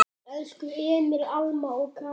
Elsku Emil, Alma og Kári.